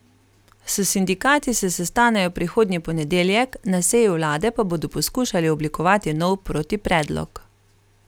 S sindikati se sestanejo prihodnji ponedeljek, na seji vlade pa bodo poskušali oblikovati nov protipredlog.